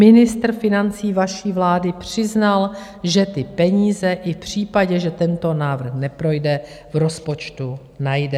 Ministr financí vaší vlády přiznal, že ty peníze i v případě, že tento návrh neprojde, v rozpočtu najde.